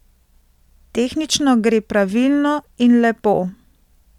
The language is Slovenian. Tehnično gre pravilno in lepo.